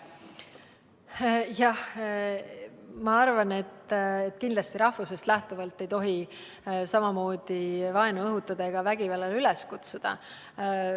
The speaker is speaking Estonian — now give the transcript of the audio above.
Jah, ma arvan, et kindlasti ei tohi rahvusest lähtuvalt vaenu õhutada ega vägivallale üles kutsuda.